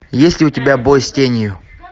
есть ли у тебя бой с тенью